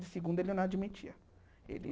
De segunda ele não admitia. Ele